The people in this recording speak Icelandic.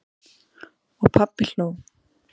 Og pabbi hló.